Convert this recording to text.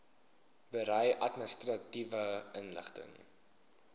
berei administratiewe inligting